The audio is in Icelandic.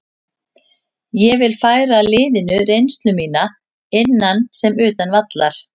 Ég vil færa liðinu reynslu mína, innan sem utan vallar.